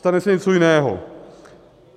Stane se něco jiného.